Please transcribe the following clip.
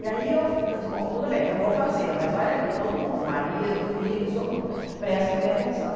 E aí eu eu disse, bom, tudo bem, eu vou fazer, mas olha aqui, todo mundo, marido, filho, todo mundo, prestem bem atenção.